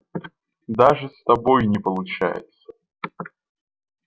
даже с собой не получается